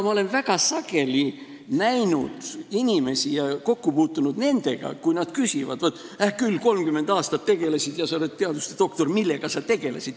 Ma olen väga sageli näinud inimesi ja kokku puutunud inimestega, kes küsivad, et hää küll, 30 aastat tegelesid ja sa oled teaduste doktor, aga millega sa tegelesid.